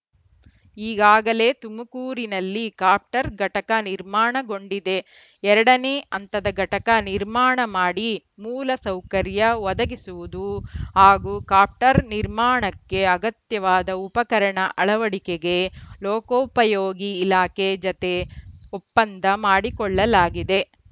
ಈಗಾಗಲೇ ತುಮಕೂರಿನಲ್ಲಿ ಕಾಪ್ಟರ್‌ ಘಟಕ ನಿರ್ಮಾಣಗೊಂಡಿದೆ ಎರಡ ನೇ ಹಂತದ ಘಟಕ ನಿರ್ಮಾಣ ಮಾಡಿ ಮೂಲಸೌಕರ್ಯ ಒದಗಿಸುವುದು ಹಾಗೂ ಕಾಪ್ಟರ್‌ ನಿರ್ಮಾರ್ಣಕ್ಕೆ ಅಗತ್ಯವಾದ ಉಪಕರಣ ಅಳವಡಿಕೆಗೆ ಲೋಕೋಪಯೋಗಿ ಇಲಾಖೆ ಜತೆ ಒಪ್ಪಂದ ಮಾಡಿಕೊಳ್ಳಲಾಗಿದೆ